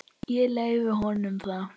Ég leyfi honum það.